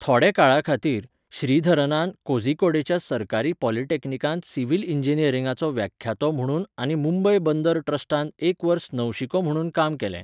थोड्या काळा खातीर, श्रीधरनान कोझीकोडेच्या सरकारी पॉलिटॅक्निकांत सिव्हील इंजिनियरिंगाचो व्याख्यातो म्हुणून आनी मुंबय बंदर ट्रस्टांत एक वर्स नवशिको म्हुणून काम केलें.